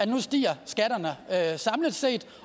nu stiger samlet set